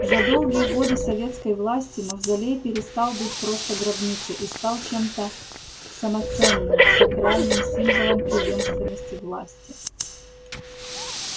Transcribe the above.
за долгие годы советской власти мавзолей перестал быть просто гробницей и стал чем-то самоценным сакральным символом преемственности власти